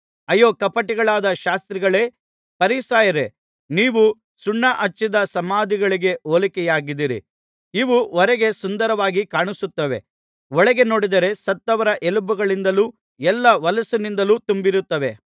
ಅಯ್ಯೋ ಕಪಟಿಗಳಾದ ಶಾಸ್ತ್ರಿಗಳೇ ಫರಿಸಾಯರೇ ನೀವು ಸುಣ್ಣಾ ಹಚ್ಚಿದ ಸಮಾಧಿಗಳಿಗೆ ಹೋಲಿಕೆಯಾಗಿದ್ದೀರಿ ಇವು ಹೊರಗೆ ಸುಂದರವಾಗಿ ಕಾಣುತ್ತವೆ ಒಳಗೆ ನೋಡಿದರೆ ಸತ್ತವರ ಎಲುಬುಗಳಿಂದಲೂ ಎಲ್ಲಾ ಹೊಲಸಿನಿಂದಲೂ ತುಂಬಿರುತ್ತವೆ